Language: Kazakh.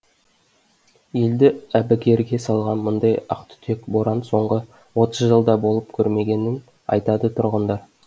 елді әбігерге салған мұндай ақтүтек боран соңғы отыз жылда болып көрмегенін айтады тұрғындар